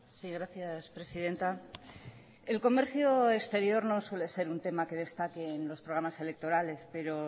si gracias presidenta el comercio exterior no suele ser un tema que destaque en los programas electorales pero